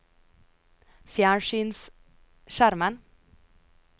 fjernsynsskjermen